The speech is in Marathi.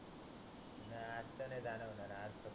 नाही आता नाही जाणार म्हणा आजपासून